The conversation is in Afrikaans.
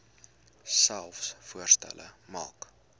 selfs voorstelle maak